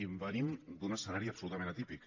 i venim d’un escenari absolutament atípic